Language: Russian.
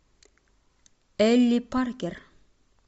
элли паркер